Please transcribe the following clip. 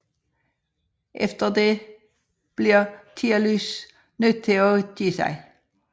Efter dette bliver Tialys nødt til at give sig